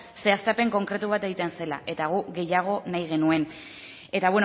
ze haztapen konkretu bat egiten zela eta guk gehiago nahi genuen eta